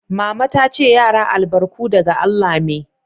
Mama ta ce "Yara albarku daga Allah me."